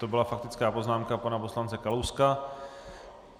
To byla faktická poznámka pana poslance Kalouska.